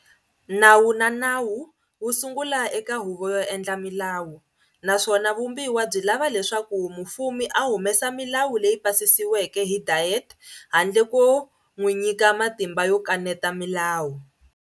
Nawu wa nawu wu sungula eka huvo yo endla milawu, naswona vumbiwa byi lava leswaku mufumi a humesa milawu leyi pasisiweke hi Diet handle ko n'wi nyika matimba yo kaneta milawu.